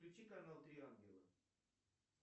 включи канал три ангела